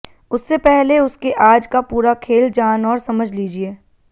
उससे पहले उसके आज का पूरा खेल जान और समझ लीजिए